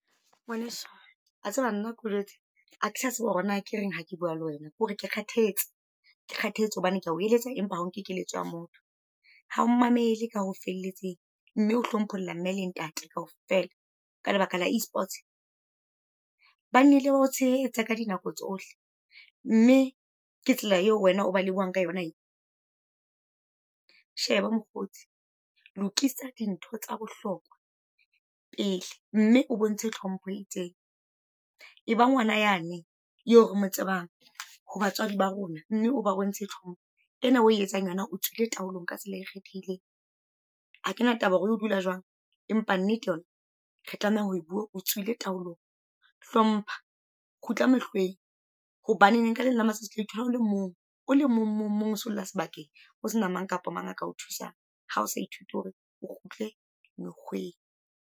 Ngwaneso, a tseba nna ko jwetse, a ke sa tseba hore na ke reng hake bua le wena kore ke kgathetse. Ke kgathetse hobane kea o eletsa, empa ha o kekeletso ya motho. Ha o mamele ka o felletseng, mme ohlompholla mme le ntate kaofela ka lebaka la E-sports! Ba na le ho o tshehetsa ka dinako tsohle, mme ke tsela eo wena o ba lebohang ka yona e . Sheba mokgotsi, lokisa dintho tsa bohlokwa pele, mme o bontshe tlhompho e itseng. E ba ngwana yane eo re mo tsebang ho batswadi ba rona, mme oba bontshe tlhompho. Ena o e etsang yona o tswileng taolong ka tsela e kgethehileng. Ha kena taba e o dula jwang, empa nnete yona re tlameha ho bua o tswileng taolong. Hlompha, kgutla mekgeng, hobaneng ka leleng la matsatsi otla ithola o le mong, o le mong, mong, mong o solla sebakeng. O se na mang kapa mang a kao thusang, ha o sa ithuti hore o kgutle mekgweng.